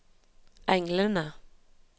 englene